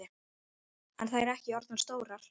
Eru þær ekki orðnar stórar?